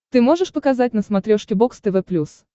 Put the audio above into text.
ты можешь показать на смотрешке бокс тв плюс